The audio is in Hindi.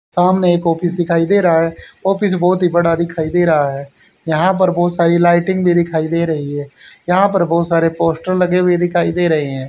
सामने एक ऑफिस दिखाई दे रा है ऑफिस बहोत ही बड़ा दिखाई दे रा है यहां पर बहोत सारी लाइटिंग भी दिखाई दे रही है यहां पर बहुत सारे पोस्टर लगे हुए दिखाई दे रहे हैं।